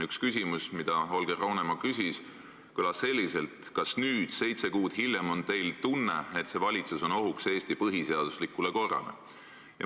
Üks küsimus, mida Holger Roonemaa küsis, kõlas selliselt: "Kas nüüd, seitse kuud hiljem, on teil tunne, et see valitsus on ohuks Eesti põhiseaduslikule korrale?